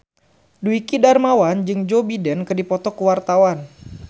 Dwiki Darmawan jeung Joe Biden keur dipoto ku wartawan